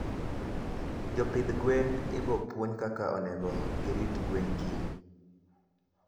Jopidh gwen ibopuonj kaka onego girit gwen kiny